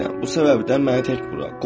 Bu səbəbdən məni tək burax.